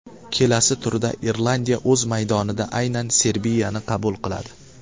Kelasi turda Irlandiya o‘z maydonida aynan Serbiyani qabul qiladi.